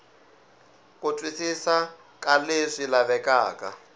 ku twisisa ka leswi lavekaka